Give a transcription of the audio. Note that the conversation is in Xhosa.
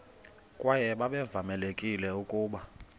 kwaye babevamelekile ukuba